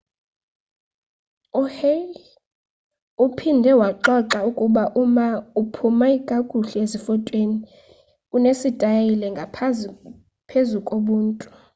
uhsieh uphinde waxoxa ukuba uma ophuma kakuhle zifotweni unesitayile ngaphezu kobuntu